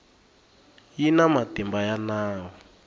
yi na matimba ya nawu